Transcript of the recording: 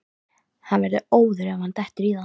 Hann verður óður ef hann dettur í það!